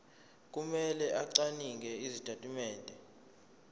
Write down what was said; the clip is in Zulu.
kumele acwaninge izitatimende